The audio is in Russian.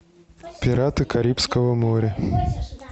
пираты карибского моря